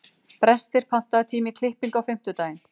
Brestir, pantaðu tíma í klippingu á fimmtudaginn.